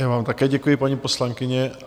Já vám také děkuji, paní poslankyně.